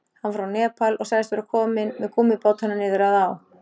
Hann var frá Nepal og sagðist vera kominn með gúmmíbátana niður að á.